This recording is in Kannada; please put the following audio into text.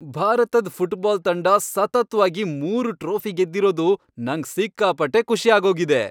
ಭಾರತದ್ ಫುಟ್ಬಾಲ್ ತಂಡ ಸತತ್ವಾಗಿ ಮೂರು ಟ್ರೋಫಿ ಗೆದ್ದಿರೋದು ನಂಗ್ ಸಿಕ್ಕಾಪಟ್ಟೆ ಖುಷಿ ಆಗೋಗಿದೆ.